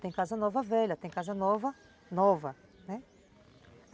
Tem Casa Nova Velha, tem Casa Nova, Nova, né?